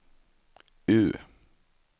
U